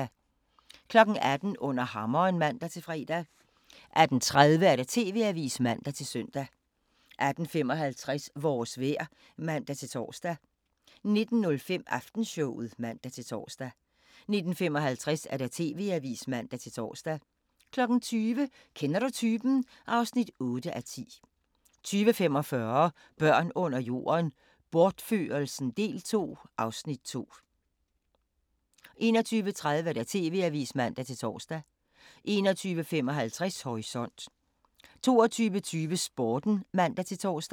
18:00: Under hammeren (man-fre) 18:30: TV-avisen (man-søn) 18:55: Vores vejr (man-tor) 19:05: Aftenshowet (man-tor) 19:55: TV-avisen (man-tor) 20:00: Kender du typen? (8:10) 20:45: Børn under jorden: Bortførelsen del 2 (Afs. 2) 21:30: TV-avisen (man-tor) 21:55: Horisont 22:20: Sporten (man-tor)